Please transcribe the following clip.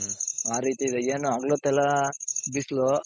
ಆ ರೀತಿ ಇದೆ ಏನು ಹಗಲೋತ್ತೆಲ್ಲಾ ಬಿಸ್ಲು,